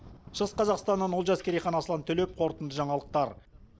шығыс қазақстаннан олжас керейхан аслан төлеп қорытынды жаңалықтар